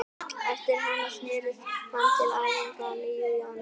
Eftir hana snéri hann til æfinga að nýju í janúar.